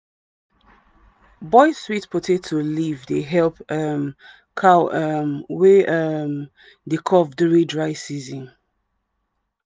boil sweet potato leaf dey help um cow um wey um dey cough during dry season.